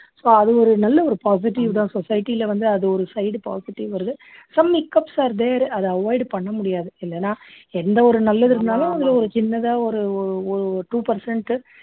so அவங்க ஒரு நல்ல ஒரு positive தான் society ல வந்து அது ஒரு side positive வருது some hiccups are there அதை avoid பண்ண முடியாது இல்லன்னா எந்த ஒரு நல்ல்லது இருந்தாலும் அதுல ஒரு சின்னதா ஒரு ஓஓஒரு two percent